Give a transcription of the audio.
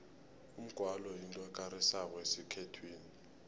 umgwalo yinto ekarisako esikhethwini